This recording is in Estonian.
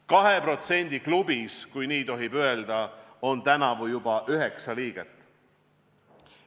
2% klubis – kui nii tohib öelda – on tänavu juba üheksa liiget.